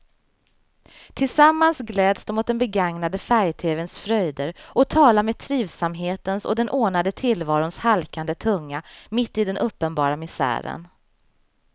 Tillsammans gläds de åt den begagnade färgtevens fröjder och talar med trivsamhetens och den ordnade tillvarons halkande tunga mitt i den uppenbara misären.